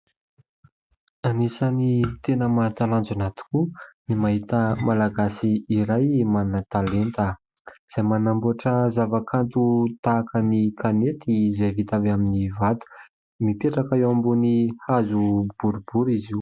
Anisany tena mahatalanjona tokoa ny mahita malagasy iray manan-talenta izay manamboatra zava-kanto tahaka ny kanety izay vita avy amin'ny vato. Mipetraka eo ambony hazo boribory izy io.